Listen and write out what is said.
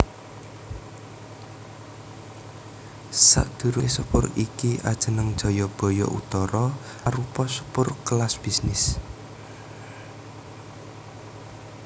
Sadurungé sepur iki ajeneng Jayabaya Utara arupa sepur kelas bisnis